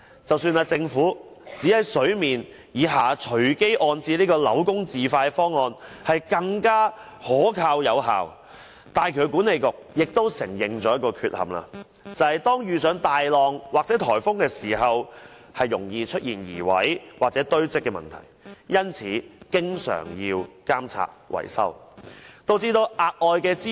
即使政府指在水面以下隨機安置扭工字塊方案是更可靠有效，港珠澳大橋管理局亦承認了一個缺陷，就是當遇上大浪或颱風時，容易出現移位或堆積問題，因此需要經常監察維修，導致額外支出。